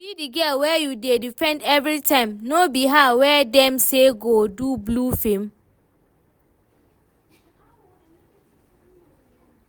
See the girl wey you dey defend everytime, no be her wey dem say go do blue film?